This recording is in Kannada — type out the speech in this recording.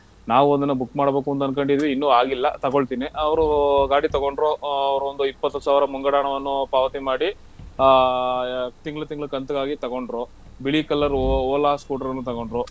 ನಾವು ಒಂದ್ ದಿನ ಮಾಡ್ಬೇಕು ಅಂತ ಅನ್ಕೊಂಡೀವಿ ಇನ್ನು ಆಗಿಲ್ಲ ತಗೋಳ್ತೀನಿ ಅವ್ರು ಗಾಡಿ ತಗೊಂಡ್ರು ಆಹ್ ಅವ್ರೊಂದು ಇಪ್ಪತ್ತು ಸಾವ್ರ ಮುಂಗಡ ಹಣವನ್ನು ಪಾವತಿ ಮಾಡಿ ಆಹ್ ತಿಂಗ್ಳ್ ತಿಂಗ್ಳ್ ಕಂತ್ಗಾಗಿ ತಗೊಂಡ್ರು ಬಿಳಿ colour Ola scooter ಅನ್ನು ತಗೊಂಡ್ರು